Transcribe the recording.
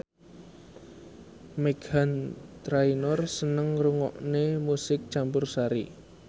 Meghan Trainor seneng ngrungokne musik campursari